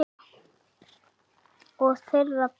Og þeirra beggja.